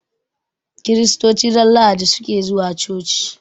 Kiristoci ran lahadi suke zuwa coci